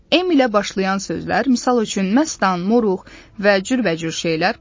M ilə başlayan sözlər, misal üçün məstan, moruq və cürbəcür şeylər.